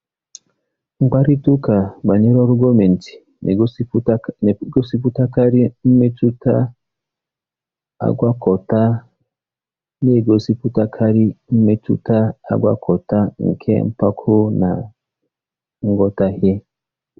Mkparịta ụka banyere ọrụ gọọmentị na-egosipụtakarị mmetụta agwakọta na-egosipụtakarị mmetụta agwakọta nke mpako na nghọtahie.